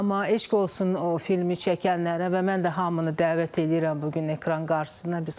Amma eşq olsun o filmi çəkənlərə və mən də hamını dəvət eləyirəm bu gün ekran qarşısına.